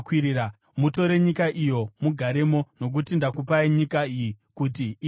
Mutore nyika iyo mugaremo, nokuti ndakupai nyika iyi kuti ive yenyu.